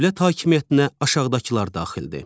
Dövlət hakimiyyətinə aşağıdakılar daxildir: